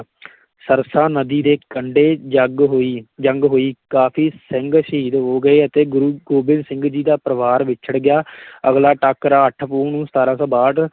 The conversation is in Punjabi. ਸਰਸਾ ਨਦੀ ਦੇ ਕੰਢੇ ਜੰਗ ਹੋਈ, ਜੰਗ ਹੋਈ, ਕਾਫੀ ਸਿੰਘ ਸ਼ਹੀਦ ਹੋ ਗਏ ਅਤੇ ਗੁਰੂ ਗੋਬਿੰਦ ਸਿੰਘ ਜੀ ਦਾ ਪਰਿਵਾਰ ਵਿਛੜ ਗਿਆ ਆਗਲਾ ਟਾਕਰਾ ਅੱਠ ਪੋਹ ਨੂੰ ਸਤਾਰਾਂ ਸੌ ਬਾਹਠ